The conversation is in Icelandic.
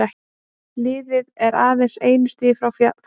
Liðið er aðeins einu stigi frá fallsæti.